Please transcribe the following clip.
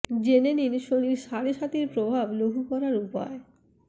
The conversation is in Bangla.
জেনে নিন শনির সাড়ে সাতির প্রভাব লঘু করার উপায়